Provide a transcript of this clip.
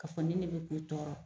Ka fɔ nin ne de be k'e tɔɔrɔ.